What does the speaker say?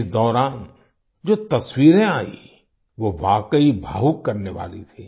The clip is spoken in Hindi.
इस दौरान जो तस्वीरें आयी वो वाकई भावुक करने वाली थी